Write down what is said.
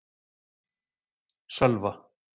Sölva